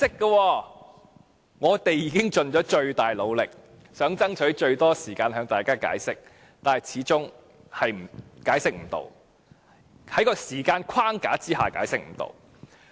"雖然我們已盡了最大努力，想爭取最多時間向大家解釋，但始終解釋不到——在這個時間框架下解釋不到。